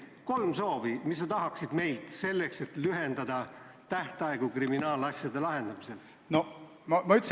Mis oleks kolm soovi, mida sa tahaksid meilt selleks, et lühendada tähtaegu kriminaalasjade lahendamisel?